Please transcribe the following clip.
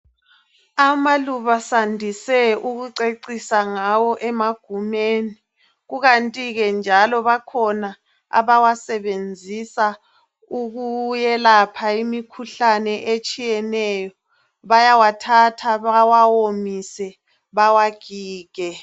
Amaluba sandise ukucecisa ngawo emagumeni. Kukanti ke njalo bakhona abawasebenzisa ukuyelapha imikhuhlane etshiyeneyo. Bayawathatha bawawomise bawagige.